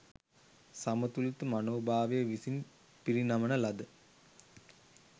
සමතුලිත මනෝභාවය විසින් පිරිනමන ලද